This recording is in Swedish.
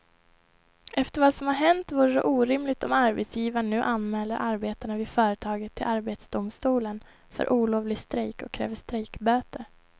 Efter vad som har hänt vore det orimligt om arbetsgivaren nu anmäler arbetarna vid företaget till arbetsdomstolen för olovlig strejk och kräver strejkböter.